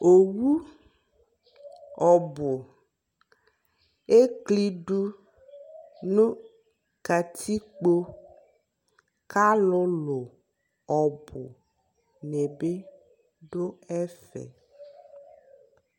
ɔwʋ ɔbʋ ɛklidʋ nʋ katikpɔ kʋ alʋlʋ ɔbʋ nibi dʋ ɛvɛ